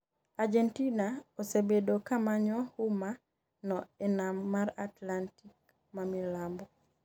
Argentina osebedo kamanyo huma no e nam mar Atlantic mamilambo